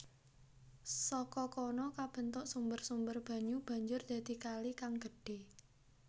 Saka kono kabentuk sumber sumber banyu banjur dadi kali kang gedhe